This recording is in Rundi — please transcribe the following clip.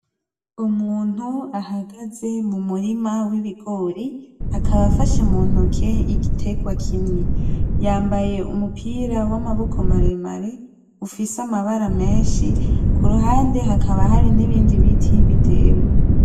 Umuntu ahagaze mu murima w'ibigori akaba afashe mu ntoke igiterwa kimwe, yambaye umupira w'amaboko maremare ufise amabara menshi, kuruhande hakaba hari nibindi biti bitewe.